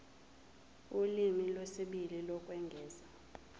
ulimi lwesibili lokwengeza